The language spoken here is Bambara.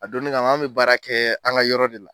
A donni kama, an tun bɛ baara kɛ an ka yɔrɔ de la.